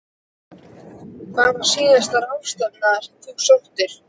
Hver var síðasta ráðstefnan sem þú sóttir?